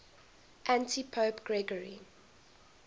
antipope gregory